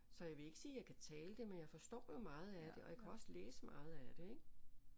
Så jeg vil ikke sige jeg kan tale det men jeg forstår jo meget af det og jeg kan også læse meget af det ik